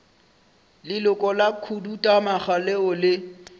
leloko la khuduthamaga leo le